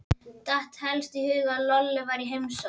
Datt helst í hug að Lolla væri í heimsókn.